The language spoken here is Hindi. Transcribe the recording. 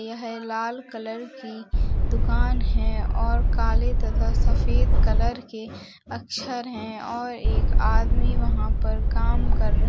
यह लाल कलर की दुकान है और काले तथा सफेद कलर के अक्षर है और एक आदमी वहाँ पर काम कर --